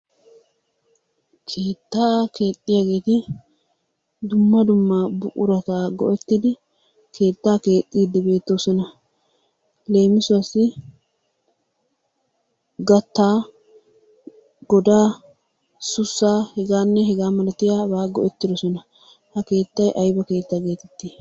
Keettaa keexxiyageeti dumma dumma buqurata go'ettidi keettaa keexxiiddi beettoosona. Leemisuwassi gattaa, godaa, sussaa, hegaanne hegaa malatiyabata go'ettidisona. Ha keettay ayiba keetta geetettii?